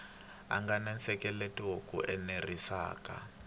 nga na nseketelo lowu enerisaka